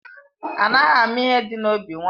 Anaghị ama ihe dị n'obi nwaanyị